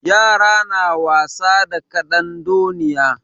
Yara na wasa da ƙadandoniya.